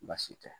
Baasi tɛ